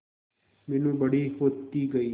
मीनू बड़ी होती गई